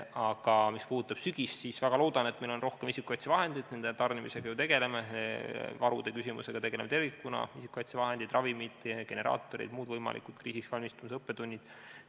Aga mis puudutab sügist, siis väga loodan, et meil on rohkem isikukaitsevahendeid – nende tarnimisega ju tegeleme, samuti varude küsimusega tervikuna, nagu isikukaitsevahendid, ravimid, generaatorid – ning on olemas muud võimalikud kriisiks valmistumise õppetunnid.